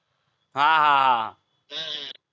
हां हां हम्म हम्म